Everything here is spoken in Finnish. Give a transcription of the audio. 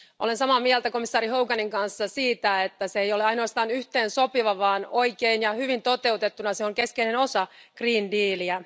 Olen samaa mieltä komissaari Hoganin kanssa siitä, että se ei ole ainoastaan yhteensopiva, vaan oikein ja hyvin toteutettuna se on keskeinen osa Green Dealiä.